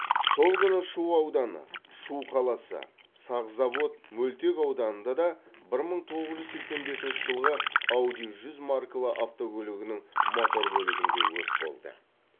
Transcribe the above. сол күні шу ауданы шу қаласы сахзавод мөлтек ауданында да бір мың тоғыз жүз сексен бесінші жылғы ауди жүз маркалы автокөлігінің мотор бөлігінде өрт болды